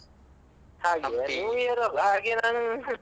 ಹಾಗೆಯಾ new year ಅಲ್ವ ಹಾಗೆ ನಾನು.